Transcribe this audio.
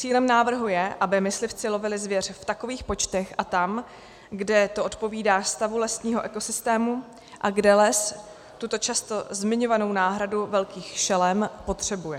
Cílem návrhu je, aby myslivci lovili zvěř v takových počtech a tam, kde to odpovídá stavu lesního ekosystému a kde les tuto často zmiňovanou náhradu velkých šelem potřebuje.